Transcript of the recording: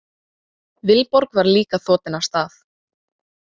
Vilborg var líka þotin af stað.